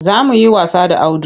Za mu yi wasa da Audu.